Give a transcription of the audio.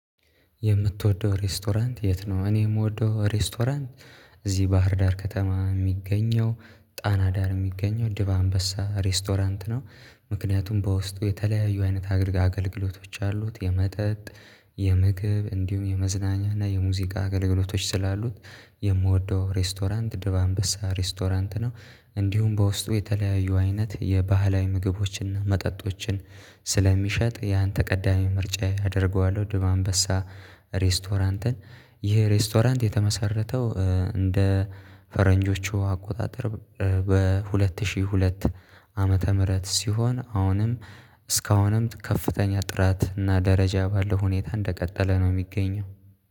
የምትወደው ሬስቶራንት የት ነው? እኔ የምወደው ሬስቶራንት እዚህ ባህርዳር ከተማ የሚገኘው ጣና ዳር የሚገኘው ድባ አንበሳ ሬስቶራንት ነው። ምክንያቱም በውስጡ የተለያዩ አይነት አገልግሎቶች አሉት የመጠጥ የምግብ እንዲሁም የመዝናኛ እና የሙዚቃ አገልግሎቶች ስላሉት። የምወደው ሬስቶራንት ድብ አንበሳ ሬስቶራንት ነው። እንዲሁም በውስጡ የተለያዩ አይነት የባህላዊ ምግቦችን መጠጦችን ስለሚሸጥ ያን ተቀዳሚ ምርጫ አደርገዋለሁ። ድብ አንበሳ ሬስቶራንትን። ይህ ሬስቶራንት የተመሰረተው እንደ ፈረንጆቹ አቆጣጠር። በሁለት ሺህ ሁለት ዓመተ ምህረት ሲሆን አሁንም እስካሁንም ከፍተኛ ጥራት እና ደረጃ ባለው ሁኔታ እንደቀጠለ ነው። የሚገኘው